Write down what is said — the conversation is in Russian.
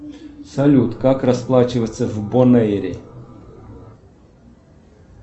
салют как расплачиваться в бонэйре